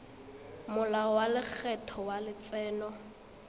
molao wa lekgetho wa letseno